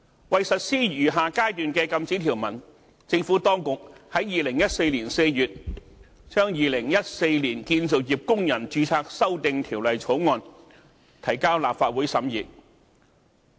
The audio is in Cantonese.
為實施餘下階段的禁止條文，政府當局在2014年4月把《2014年建造業工人註冊條例草案》提交立法會審議。